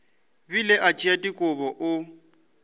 bile a tšea dikobo o